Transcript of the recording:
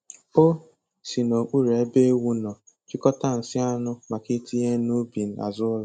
O si n'okpuru ebe ewu nọ chịkọta nsị anụ maka itinye n'ubi azụ ụlọ.